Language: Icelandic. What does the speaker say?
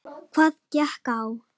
Hvað gekk á?